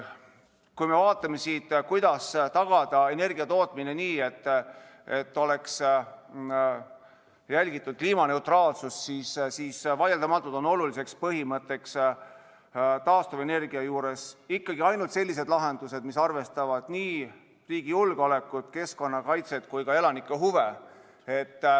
Kui me vaatame, kuidas tagada energiatootmine nii, et oleks järgitud kliimaneutraalsust, siis vaieldamatult on oluline põhimõte taastuvenergia juures ikkagi see, et oleksid ainult sellised lahendused, mis arvestavad nii riigi julgeolekut, keskkonnakaitset kui ka elanike huve.